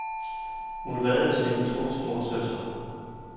Hun reddede sine to små søstre.